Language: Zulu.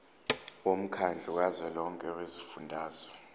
womkhandlu kazwelonke wezifundazwe